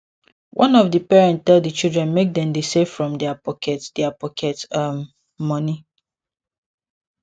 one of di parent tell di children make dem dey save from their pocket their pocket um money